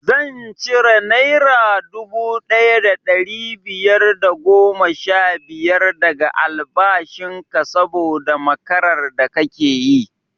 Zan cire naira dubu ɗaya da ɗari biyar da goma sha biyar daga albashin ka saboda makarar da kake yi